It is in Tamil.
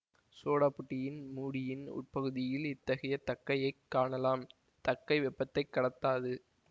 சோடா புட்டியின் மூடியின் உட்பகுதியில் இத்தகைய தக்கையைக் காணலாம் தக்கை வெப்பத்தைக் கடத்தாது